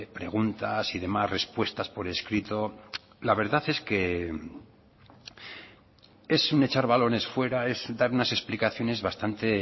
preguntas y demás respuestas por escrito la verdad es que es un echar balones fuera es dar unas explicaciones bastante